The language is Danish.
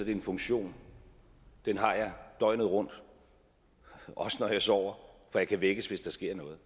er en funktion den har jeg døgnet rundt også når jeg sover for jeg kan vækkes hvis der sker noget